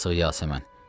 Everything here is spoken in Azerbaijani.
Yazıq Yasəmən,